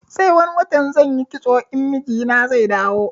Sai wani watan zanyi kitso in mijina zai dawo